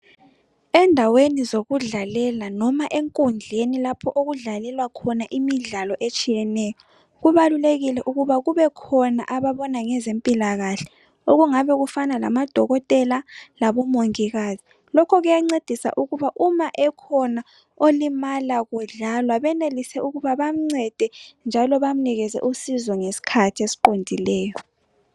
Endaweni zokudlalela noma enkundleni lapho okudlalelwa khona imidlalo etshiyeneyo. Kubalulekile ukuba kubekhona ababona ngezempilakahle okungabe kufana lamadokotela labomongikazi. Lokho kuyancedisa ukuba uma ekhona olimala kudlalwa benelise ukuba bamncede njalo bamnikeze usizo ngesikhathi esiqondileyo.